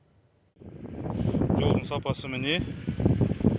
жолдың сапасы міне